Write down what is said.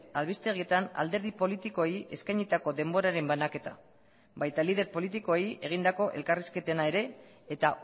albistegietan alderdi politikoei eskainitako denboraren banaketa baita lider politikoei egindako elkarrizketena ere eta